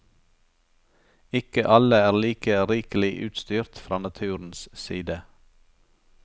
Ikke alle er like rikelig utstyrt fra naturens side.